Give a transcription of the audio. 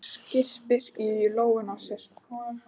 Hún skyrpir í lófana á sér.